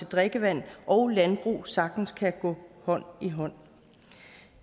drikkevand og landbrug sagtens kan gå hånd i hånd